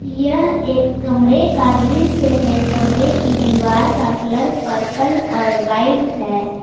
यह एक कमरे का दृश्य है कमरे के दीवार का कलर पर्पल और वाइट है।